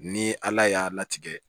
Ni ala y'a latigɛ